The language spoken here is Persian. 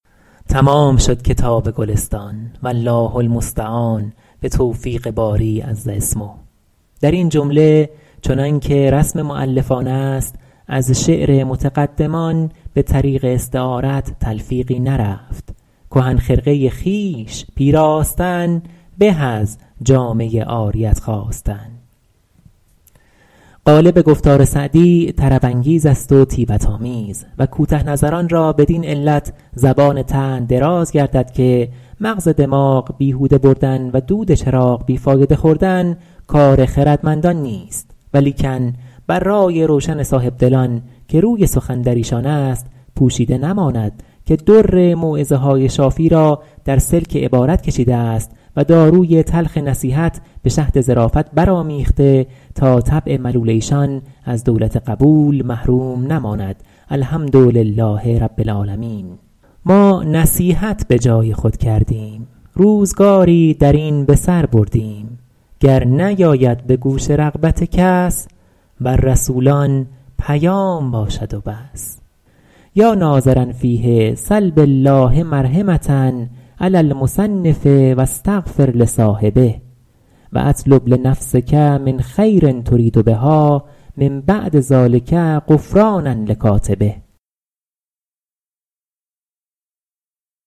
تمام شد کتاب گلستان والله المستعان به توفیق باری عز اسمه در این جمله چنان که رسم مؤلفان است از شعر متقدمان به طریق استعارت تلفیقی نرفت کهن خرقه خویش پیراستن به از جامه عاریت خواستن غالب گفتار سعدی طرب انگیز است و طیبت آمیز و کوته نظران را بدین علت زبان طعن دراز گردد که مغز دماغ بیهوده بردن و دود چراغ بی فایده خوردن کار خردمندان نیست ولیکن بر رای روشن صاحبدلان که روی سخن در ایشان است پوشیده نماند که در موعظه های شافی را در سلک عبارت کشیده است و داروی تلخ نصیحت به شهد ظرافت بر آمیخته تا طبع ملول ایشان از دولت قبول محروم نماند الحمدلله رب العالمین ما نصیحت به جای خود کردیم روزگاری در این به سر بردیم گر نیاید به گوش رغبت کس بر رسولان پیام باشد و بس یا ناظرا فیه سل بالله مرحمة علی المصنف و استغفر لصاحبه و اطلب لنفسک من خیر ترید بها من بعد ذلک غفرانا لکاتبه